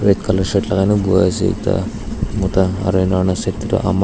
Red colour shirt lakai pohena ase ekta mota aro enahoina side teytu ama.